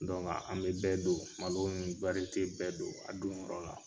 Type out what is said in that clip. an be bɛɛ don, malo nin bɛɛ don a don yɔrɔ la.